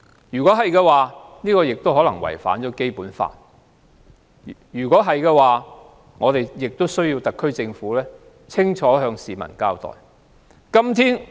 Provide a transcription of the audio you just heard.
如果是，便可能違反《基本法》，我們要求特區政府向市民清楚交代。